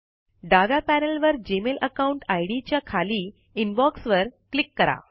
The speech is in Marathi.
डाव्या पैनल वर जीमेल अकाउंट आईडी च्या खाली इनबॉक्स वर क्लिक करा